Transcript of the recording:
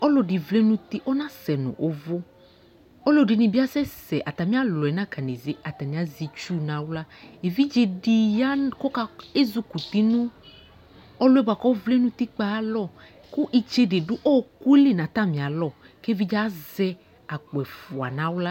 Ɔluɛdi vlɛ nu uti ɔnasɛ nu uvu aluɛ dini asɛsɛ atami alɔɛ nakanézé atani azɛ tsu na axlă évidzé di ya kéjukuti nu ɔluɛ bua kɔ vlɛ nu utikpa ayalɔ ku itsédé du ɔku li na atamia lɔ ké évidzé azɛ akpo ɛfua na xlă